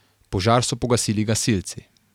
Požar so pogasili gasilci.